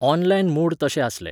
Online mode तशे आसले.